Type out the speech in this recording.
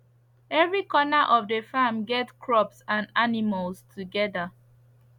every corner of the farm get crops and animals together